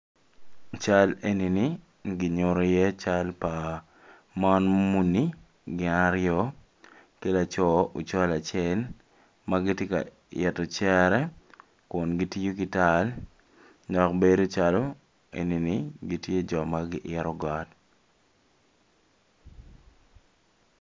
I cal enini ki nyuto iye cal pa mon muni gin aryo ki laco ocol acel ma gitye ka ito cere kun gitiyo ki tal dok bedo calo eni jo ma giito got.